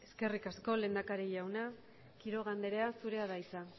eskerrik asko lehendakari jauna quiroga andrea zurea da hitza